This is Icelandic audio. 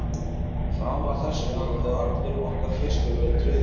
Fram að þessu hafði allur okkar fiskur verið tryggður.